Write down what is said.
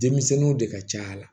Denmisɛnninw de ka ca la